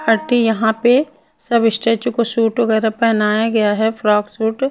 अटी यहाँ पे सभी स्टेच्यू को सूट वगैरा पहनाया गया हैं फ्रॉक सूट --